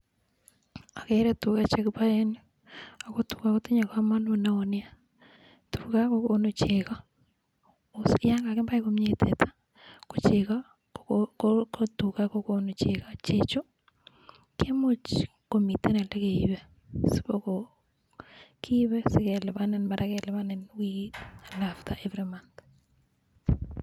Ageere tuga che kipae eng yu ako tuga kotinye kamanut neo nea, tuga kokonu chego, mising ko yon kakipai komnye teta ko chego, ko tuga kokonu chego. Chechu kimuch komiten ole keipe sikopo kiipi sipekelipanin, mara kelipanin wikit anan after every month.